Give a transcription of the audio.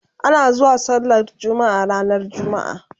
ana zuwa sallar jumma'a ranar jumma'a